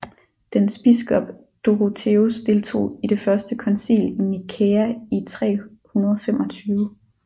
Dens biskop Dorotheus deltog i det Første koncil i Nikæa i 325